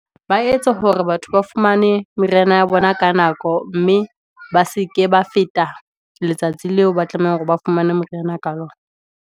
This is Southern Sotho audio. Ba etse hore batho ba fumane, meriana ya bona ka nako, mme ba seke ba feta letsatsi leo, ba tlameha hore ba fumane meriana ka .